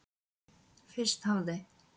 Fyrst hafði